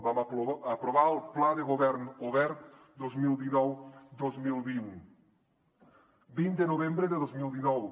vam aprovar el pla de govern obert dos mil dinoudos cents i dos mil vint de novembre de dos mil dinou